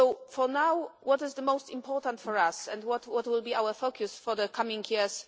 For now, what is the most important for us and what will be our focus for the coming years?